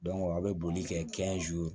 aw bɛ boli kɛ